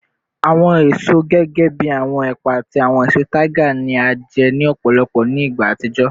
Awọn eso gẹgẹbi awọn epa ati awọn eso tiger ni a jẹ ni ọpọlọpọ ni igba atijọ